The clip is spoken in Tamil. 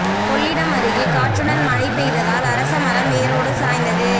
கொள்ளிடம் அருகே காற்றுடன் மழை பெய்ததால் அரச மரம் வேரோடு சாய்ந்தது